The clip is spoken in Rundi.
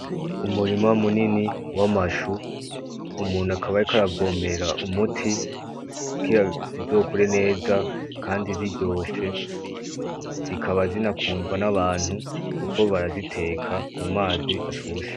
Umurima munini w'amashu, umuntu akaba ariko aravomera umuti ,kugira zizokure neza Kandi ziryoshe zikaba zinakundwa n'abantu kuko baraziteka mumazi ashushe.